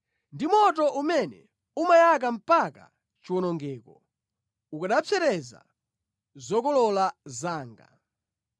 Ndi moto umene umayaka mpaka chiwonongeko; ukanapsereza zokolola zanga.